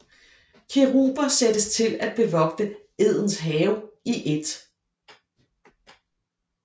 Keruber sættes til at bevogte Edens have i 1